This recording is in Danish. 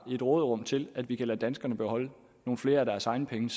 råderum til at vi kan lade danskerne beholde nogle flere af deres egne penge